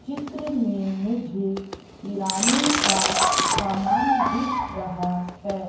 चित्र में मुझे किराने का समान दिख रहा है।